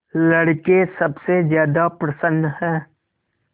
लड़के सबसे ज्यादा प्रसन्न हैं